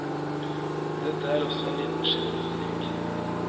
Dette er også en liten genistrek.